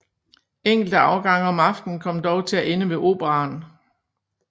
Enkelte afgange om aftenen kom dog til at ende ved Operaen